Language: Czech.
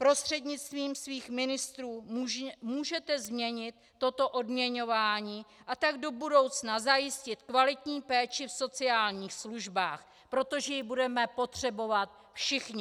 Prostřednictvím svých ministrů můžete změnit toto odměňování, a tak do budoucna zajistit kvalitní péči v sociálních službách, protože ji budeme potřebovat všichni.